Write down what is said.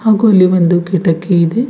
ಹಾಗು ಇಲ್ಲಿ ಒಂದು ಕಿಟಕಿ ಇದೆ.